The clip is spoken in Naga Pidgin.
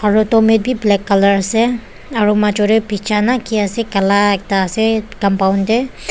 aro domat bi black colour asey aro majo deh pija na ki asey kala ekta asey compound deh.